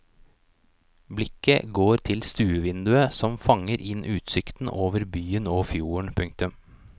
Blikket går til stuevinduet som fanger inn utsikten over byen og fjorden. punktum